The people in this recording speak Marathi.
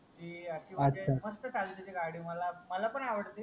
ती अशी म्हणजे मस्त चालते ते गाडी मला मला पान आवडते